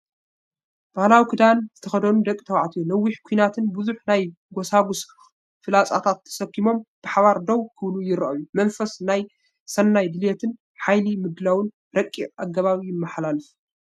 ባህላዊ ክዳን ዝተኸድኑ ደቂ ተባዕትዮ ነዊሕ ኲናትን ብዙሕ ናይ ጎስጓስ ፍላጻታትን ተሰኪሞም ብሓባር ደው ክብሉ ይረኣዩ። መንፈስ ሰናይ ድሌትን ሓይሊ ምድላውን ረቂቕ ኣገባብ ይመሓላለፍ።